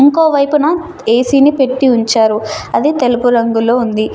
ఇంకోవైపున A C ని పెట్టి ఉంచారు. అది తెలుపు రంగులో ఉంది.